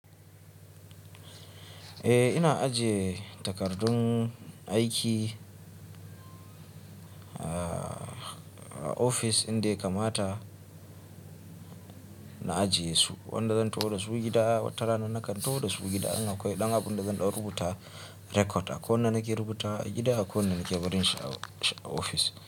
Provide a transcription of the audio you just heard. Eh ina ajiye takardun aiki a ofis inda kamata na ajiye su. Wanda zan taho da su gida, watarana nakan taho da su gida. In akwai ɗan abu inda zan ɗau rubuta record, a ko ina nake rubuta gida, a ko ina nake barin shi a ofis.